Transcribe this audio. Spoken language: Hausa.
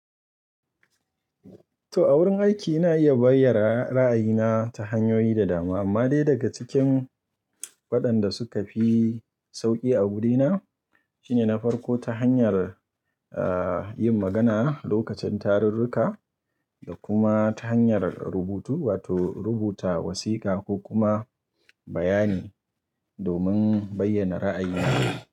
To, a wurin aiki ina iya bayyana ra'ayina ta hanyoyi da dama, amma dai daga cikin waɗanda suka fi sauƙi a wurina shine na farko ta hanyar, yin magana lokacin tarurruka da kuma ta hanyar rubutu wato rubuta wasiƙa ko kuma bayani domin bayyana ra'ayina.